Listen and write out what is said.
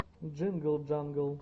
джингл джангл